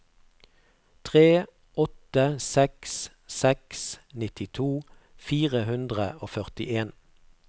tre åtte seks seks nittito fire hundre og førtien